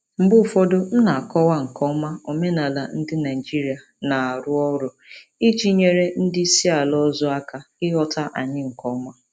Mgbe ụfọdụ, m na-akọwa nke ọma omenala ndị Naijiria na-arụ ọrụ iji nyere ndị isi ala ọzọ aka ịghọta anyị nke ọma.